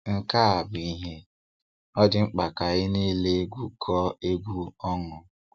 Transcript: Nke a bụ ihe "ọ dị mkpa ka anyị niile gwukọọ egwu ọnụ".